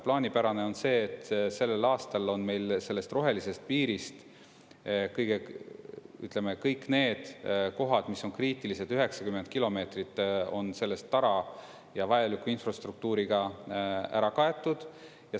Plaanipärane on see, et sellel aastal on meil sellest rohelisest piirist, ütleme, kõik need kohad, mis on kriitilised, 90 kilomeetrit on sellest tara ja vajaliku infrastruktuuriga ära kaetud.